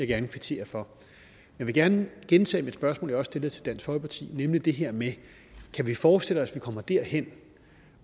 gerne kvittere for jeg vil gerne gentage mit spørgsmål også stillede til dansk folkeparti nemlig det her med kan vi forestille os at vi kommer derhen